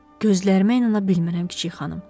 Gözlərimə inana bilmirəm kiçik xanım.